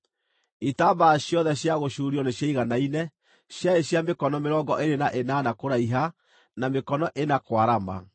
Itambaya ciothe cia gũcuurio nĩciaiganaine, ciarĩ cia mĩkono mĩrongo ĩĩrĩ na ĩnana kũraiha, na mĩkono ĩna kwarama.